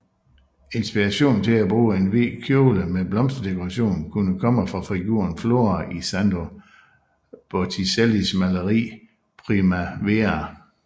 Inspirationen til at bruge en hvid kjole med blomsterdekoration kunne komme fra figuren Flora i Sandro Botticellis maleri Primavera